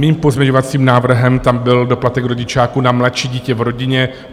Mým pozměňovacím návrhem tam byl doplatek rodičáku na mladší dítě v rodině.